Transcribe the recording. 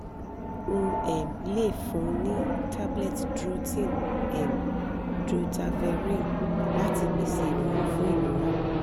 o um le fun ni tablet drotin um (drotaverine) lati pese irorun fun irora